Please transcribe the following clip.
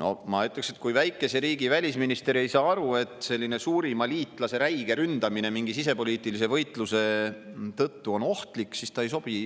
No ma ütleksin, et kui väikese riigi välisminister ei saa aru, et selline suurima liitlase räige ründamine mingi sisepoliitilise võitluse tõttu on ohtlik, siis ta ei sobi